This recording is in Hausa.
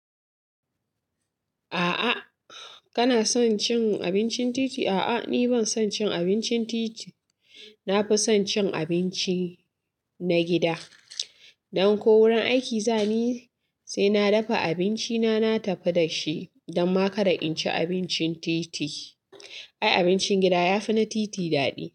A'a kana son cin abincin titi? A'a ni ban son cin abincin titi. Na fi son cin abinci na gida. Dan ko wurin aiki zani, sai na dafa abinci na, na tafi da shi, dan ma kada in ci abincin titi. Ai abincin gida ya fi na titi daɗi.